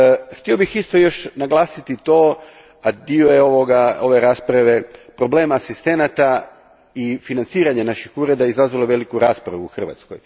Htio bih isto još naglasiti, a dio je ove rasprave, problem asistenata i financiranje naših ureda izazvalo je veliku raspravu u Hrvatskoj.